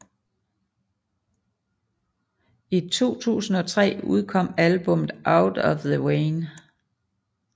I 2003 udkom albummet Out of the Vein